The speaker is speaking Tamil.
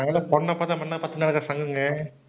நாங்கல்லாம் பொண்ணை பார்த்தா மண்ணை சங்கங்க.